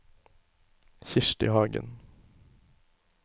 Kirsti Hagen